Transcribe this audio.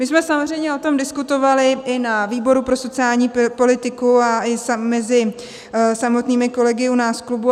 My jsme samozřejmě o tom diskutovali i na výboru pro sociální politiku a i mezi samotnými kolegy u nás v klubu.